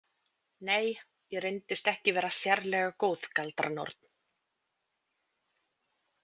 Nei, ég reyndist ekki vera sérlega góð galdranorn.